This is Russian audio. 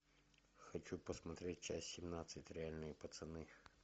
хочу посмотреть часть семнадцать реальные пацаны